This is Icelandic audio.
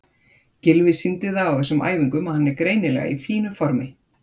Gylfi sýndi það á þessum æfingum að hann er greinilega í fínu formi.